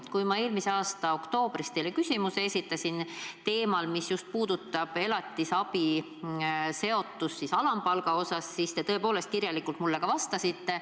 Kui ma eelmise aasta oktoobris esitasin teile küsimuse teemal, mis puudutas elatisabiraha seotust alampalgaga, siis te tõepoolest mulle kirjalikult vastasite.